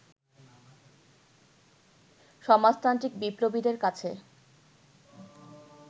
সমাজতান্ত্রিক বিপ্লবীদের কাছে